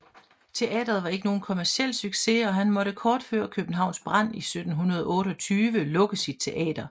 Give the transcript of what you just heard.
Teatret var ikke nogen kommerciel succes og han måtte kort før Københavns brand i 1728 lukke sit teater